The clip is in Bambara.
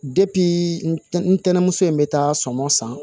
ntɛnɛmuso in bɛ taa sɔmɔ san